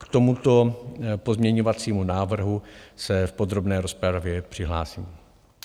K tomuto pozměňovacímu návrhu se v podrobné rozpravě přihlásím.